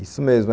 Isso mesmo.